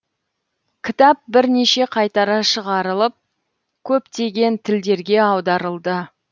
кітап бірнеше қайтара шығарылып көптеген тілдерге аударылды